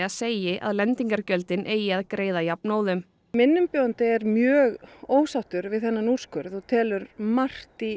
segi að lendingargjöldin eigi að greiða jafnóðum minn umbjóðandi er mjög ósáttur við þennan úrskurð og telur margt í